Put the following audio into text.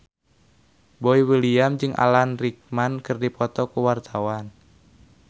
Boy William jeung Alan Rickman keur dipoto ku wartawan